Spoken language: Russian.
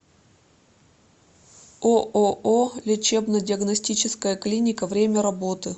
ооо лечебно диагностическая клиника время работы